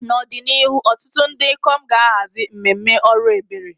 N'ọdịnihu, ọtụtụ ndị ikom ga-ahazi mmemme ọrụ ebere.